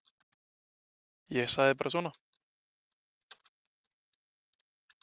Ég sagði bara svona.